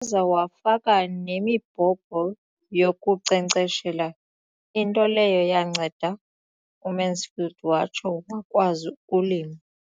Waza wafaka nemibhobho yokunkcenkceshela, into leyo yanceda uMansfield watsho wakwazi ukulima.